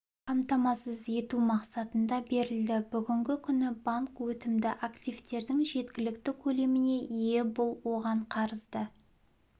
қамтамасыз ету мақсатында берілді бүгінгі күні банк өтімді активтердің жеткілікті көлеміне ие бұл оған қарызды